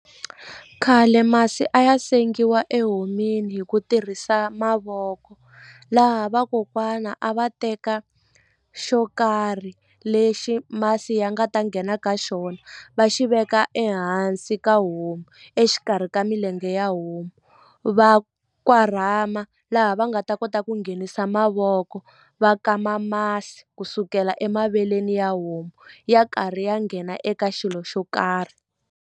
Khale masi a ya sengiwa ehon'wini hi ku tirhisa mavoko laha vakokwana a va teka xo karhi lexi masi ya nga ta nghena ka xona va xi veka ehansi ka homu exikarhi ka milenge ya homu va korhama laha va nga ta kota ku nghenisa mavoko va kama masi ku sukela emaveleni ya homu ya karhi ya nghena eka xilo xo karhi.